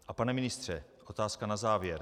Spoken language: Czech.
A pane, ministře, otázka na závěr.